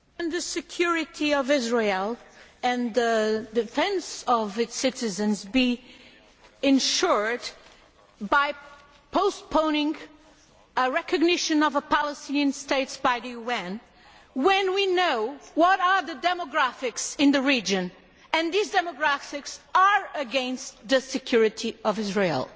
Can the security of Israel and the defence of its citizens be ensured by postponing the recognition of a Palestinian state by the UN when we know what the demographics are in the region and that these demographics are against the security of Israel